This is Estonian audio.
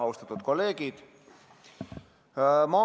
Austatud kolleegid!